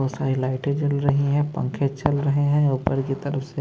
दूसरी लाइटें जल रही है पंखे चल रहे हैं ऊपर की तरफ से--